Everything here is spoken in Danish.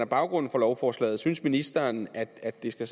baggrund for lovforslaget synes ministeren at at det